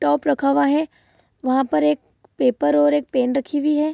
Top रखा हुआ है। वहाँ पर एक पेपर और एक पेन रखी हुई है।